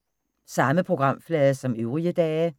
Samme programflade som øvrige dage